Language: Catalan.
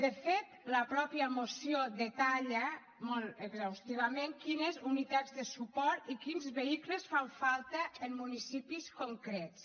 de fet la mateixa moció detalla molt exhaustivament quines unitats de suport i quins vehicles fan falta en municipis concrets